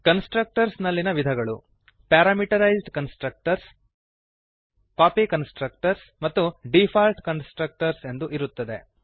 constructors ನಲ್ಲಿಯ ವಿಧಗಳು parameterized constructors copy constructors ಮತ್ತು ಡೀಫಾಲ್ಟ್ ಕನ್ಸ್ಟ್ರಕ್ಟರ್ಸ್ ಎಂದು ಇರುತ್ತದೆ